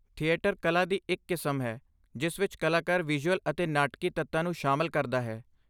Theatre ਕਲਾ ਦੀ ਇੱਕ ਕਿਸਮ ਹੈ ਜਿਸ ਵਿੱਚ ਕਲਾਕਾਰ ਵਿਜ਼ੂਅਲ ਅਤੇ ਨਾਟਕੀ ਤੱਤਾਂ ਨੂੰ ਸ਼ਾਮਲ ਕਰਦਾ ਹੈ।